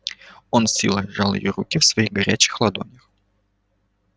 он с силой сжал её руки в своих горячих ладонях